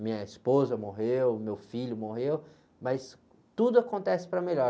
Minha esposa morreu, meu filho morreu, mas tudo acontece para melhor.